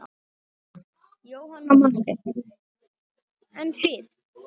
Jóhanna Margrét: En þið?